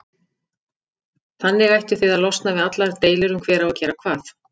Þannig ættuð þið að losna við allar deilur um hver á að gera hvað.